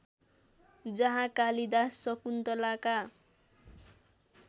जहाँ कालिदास शकुन्तलाका